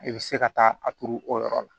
I bɛ se ka taa a turu o yɔrɔ la